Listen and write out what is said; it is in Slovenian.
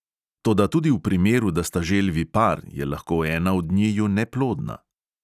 Toda tudi v primeru, da sta želvi par, je lahko ena od njiju neplodna.